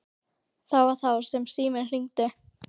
Það var þá sem síminn hringdi.